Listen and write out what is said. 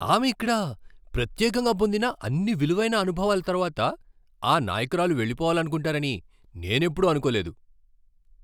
ఆమె ఇక్కడ ప్రత్యేకంగా పొందిన అన్ని విలువైన అనుభవాల తరువాత, ఆ నాయకురాలు వెళ్లిపోవాలనుకుంటారని నేను ఎప్పుడూ అనుకోలేదు.